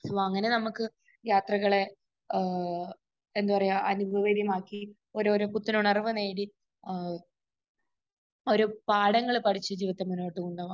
So, അങ്ങനെ നമുക്ക് യാത്രകളെ ഏഹ് എന്താ പറയാ അനുഭവകരമാക്കി ഓരോരോ പുത്തനുണർവ്വ് നേടി ഏഹ് ഓരോ പാഠങ്ങൾ പഠിച്ച് ജീവിതത്തെ മുന്നോട് കൊണ്ട് പോകാം.